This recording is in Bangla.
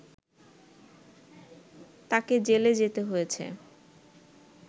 তাকে জেলে যেতে হয়েছে